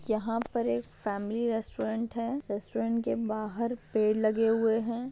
यहा पर एक फॅमिली रेस्टोरंट है। रेस्टोरंट के बाहर पेड़ लगे हुए है।